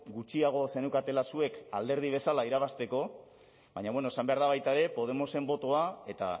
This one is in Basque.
gutxiago zeneukatela zuek alderdi bezala irabazteko baina bueno esan behar da baita ere podemosen botoa eta